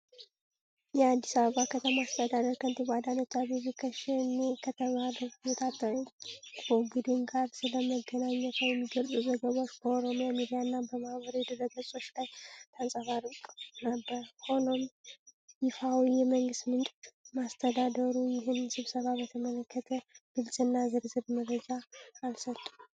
የአዲስ አበባ ከተማ አስተዳደር ከንቲባ አዳነች አቤቤ ከሸኔ ከተባለው የታጠቁ ቡድን ጋር ስለመገናኘቷ የሚገልጹ ዘገባዎች በኦሮሚያ ሚዲያና በማኅበራዊ ድረገጾች ላይ ተንጸባርቀው ነበር። ሆኖም፣ ይፋዊ የመንግሥት ምንጮች ወይም አስተዳደሩ ይህን ስብሰባ በተመለከተ ግልጽና ዝርዝር መረጃ አልሰጡም።